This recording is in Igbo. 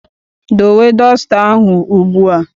Dowe dọsta ahụ ugbu a!